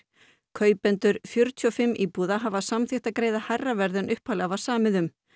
kaupendur fjörutíu og fimm íbúða hafa samþykkt að greiða hærra verð en upphaflega var samið um